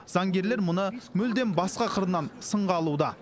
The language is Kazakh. заңгерлер мұны мүлдем басқа қырынан сынға алуда